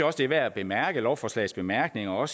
også det er værd at bemærke lovforslagets bemærkninger og